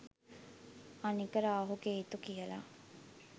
අනික රාහු කේතු කියලා